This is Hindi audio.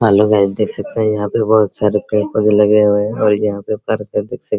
हेलो गाइस देख सकते हैं यहाँ पे बहुत सारे पेड़-पौधे लगे हुए हैं और यहाँ पे पार्क है देख सक --